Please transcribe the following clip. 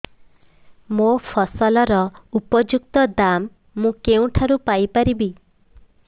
ମୋ ଫସଲର ଉପଯୁକ୍ତ ଦାମ୍ ମୁଁ କେଉଁଠାରୁ ପାଇ ପାରିବି